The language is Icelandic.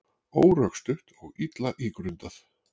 Órökstutt og illa ígrundað